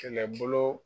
Kɛlɛbolo